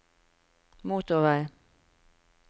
motorvei